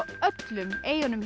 öllum eyjunum